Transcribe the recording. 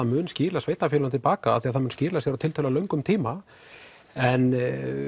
mun skila sveitarfélagi til baka því það mun skila sér á tiltölulega löngum tíma en